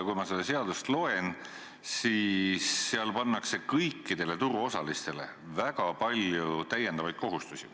Kui ma seda seadust loen, siis näen, et seal pannakse kõikidele turuosalistele väga palju täiendavaid kohustusi.